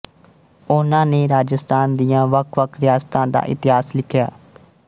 ਉਹਨਾਂ ਨੇ ਰਾਜਸਥਾਨ ਦੀਆਂ ਵੱਖਵੱਖ ਰਿਆਸਤਾਂ ਦਾ ਇਤਿਹਾਸ ਲਿਖਿਆ